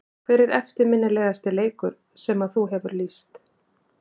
Hver er eftirminnilegasti leikur sem að þú hefur lýst?